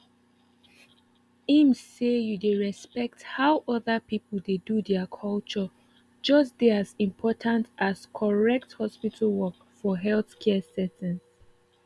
ehm say you dey respect how other people dey do their culture just dey as important as correct hospital work for healthcare settings